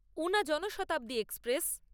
Una Janshatabdi express